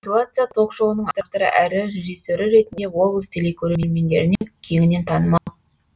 ситуация ток шоуының авторы әрі режиссері ретінде облыс телекөрермендеріне кеңінен танымал